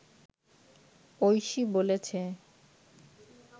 ঐশী বলেছে